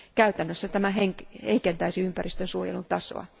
Käytännössä tämä heikentäisi ympäristön suojelun tasoa.